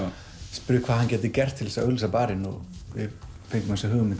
spurði hvað hann gæti gert til að auglýsa barinn við fengum þessa hugmynd